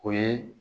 O ye